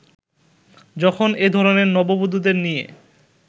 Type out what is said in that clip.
যখন এ ধরনের নববধুদের নিয়ে